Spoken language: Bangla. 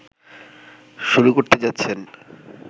শুরু করতে যাচ্ছেন